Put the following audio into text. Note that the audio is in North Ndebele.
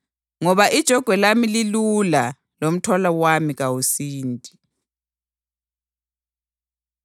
Ngoba ijogwe lami lilula, lomthwalo wami kawusindi.”